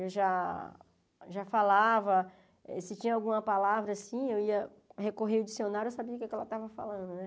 Eu já já falava, se tinha alguma palavra, assim, eu ia recorrer ao dicionário, eu sabia o que ela estava falando, né?